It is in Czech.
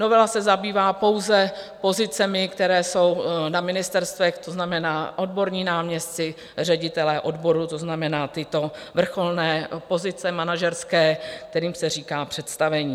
Novela se zabývá pouze pozicemi, které jsou na ministerstvech, to znamená odborní náměstci, ředitelé odborů, to znamená tyto vrcholné pozice manažerské, kterým se říká představení.